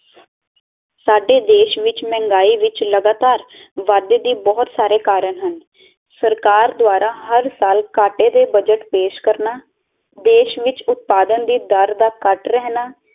ਸਾਡੇ ਦੇਸ਼ ਵਿੱਚ ਮਹਿੰਗਾਈ ਵਿੱਚ ਲਗਾਤਾਰ ਵਾਧੇ ਦੇ ਬਹੁਤ ਸਾਰੇ ਕਾਰਨ ਹਨ ਸਰਕਾਰ ਦੁਆਰਾ ਹਰ ਸਾਲ ਕਾਟੇ ਦੇ ਬੱਜਟ ਪੇਸ਼ ਕਰਨਾ ਦੇਸ਼ ਵਿੱਚ ਉਤਪਾਦਨ ਦੀ ਦਰ ਦਾ ਕੱਟ ਰਹਿਣਾ